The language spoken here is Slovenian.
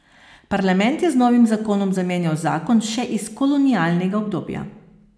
Parlament je z novim zakonom zamenjal zakon še iz kolonialnega obdobja.